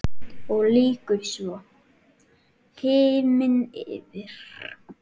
Og lýkur svo: Himinn yfir.